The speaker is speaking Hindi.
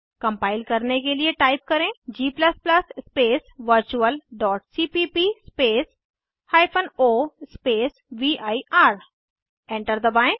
कम्पाइल करने के लिए टाइप करें g स्पेस virtualसीपीप स्पेस o स्पेस वीर एंटर दबाएं